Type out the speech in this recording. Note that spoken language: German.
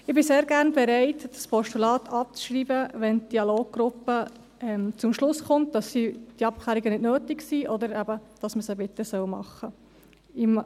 » Ich bin sehr gerne bereit, das Postulat abzuschreiben, wenn die Dialoggruppe zum Schluss kommt, dass die Abklärungen nicht nötig sind oder dass man sie bitte machen soll.